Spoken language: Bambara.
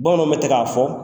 Bamananw bɛ tɛ ka fɔ